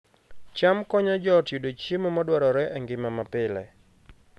cham konyo joot yudo chiemo madwarore e ngima mapile